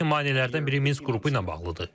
Lakin maneələrdən biri Minsk qrupu ilə bağlıdır.